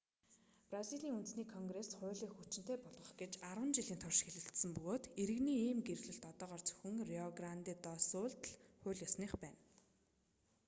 бразилийн үндэсний конгресс хуулийг хүчинтэй болгох гэж 10 жилийн турш хэлэлцсэн бөгөөд иргэний ийм гэрлэлт одоогоор зөвхөн рио гранде до сулд л хууль ёсных байна